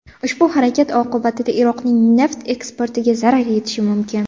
Ushbu harakat oqibatida Iroqning neft eksportiga zarar yetishi mumkin.